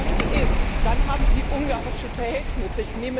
Wenn das so ist, dann haben Sie ungarische Verhältnisse.